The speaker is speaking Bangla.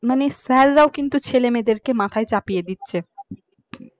মানে sir রাও কিন্তু ছেলেমেয়েদেরকে মাথায় চাপিয়ে দিচ্ছে দিচ্ছে মানে